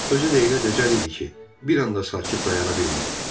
Özü də elə dəcəl idi ki, bir anda sakit dayana bilmirdi.